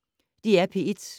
DR P1